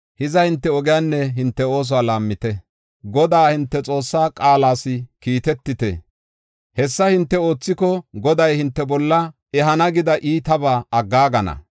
Hiza hinte ogiyanne hinte oosuwa laammite; Godaa hinte Xoossaa qaalas kiitetite. Hessa hinte oothiko, Goday hinte bolla ehana gida iitabaa aggaagana.